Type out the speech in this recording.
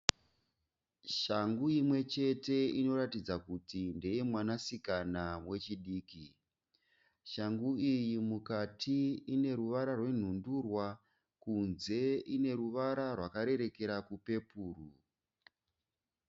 Shangu imwechete inoratidza kuti ndeyemwanasikana wechidiki. Shangu iyi mukati ineruvara rwenhundurwa , kunze ineruvara rwakarerekera kupepuru.